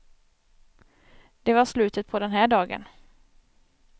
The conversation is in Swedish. Det var slutet på den här dagen.